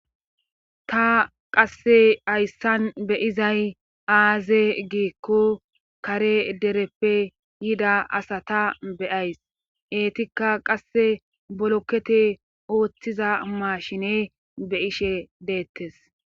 ta qasse hayssan be'izay aaze giikko kare dereppe yida asata be'ays eetikka qasse bolokete ooththiza maashine be'ishe deettes